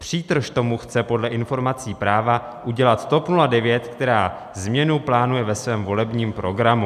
Přítrž tomu chce podle informací Práva udělat TOP 09, která změnu plánuje ve svém volebním programu.